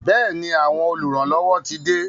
Bẹẹni, àwọn oluranlowo tí de